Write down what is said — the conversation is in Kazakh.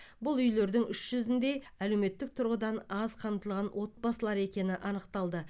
бұл үйлердің үш жүзінде әлеуметтік тұрғыдан аз қамтылған отбасылар екені анықталды